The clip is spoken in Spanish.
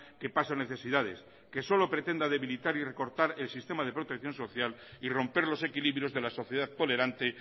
que pasa necesidades que solo pretenda debilitar y recortar el sistema de protección social y romper los equilibrios de la sociedad tolerante